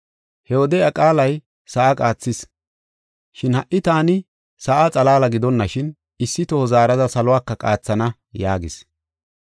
He wode iya qaalay sa7a qaathis. Shin ha77i taani, “Sa7a xalaala gidonashin, issi toho zaarada saluwaka qaathana” yaagis.